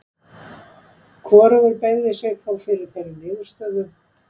hvorugur beygði sig þó fyrir þeirri niðurstöðu